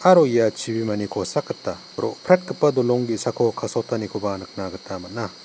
aro ia chibimani kosak gita ro·pretgipa dolong ge·sako kasotanikoba nikna gita man·a.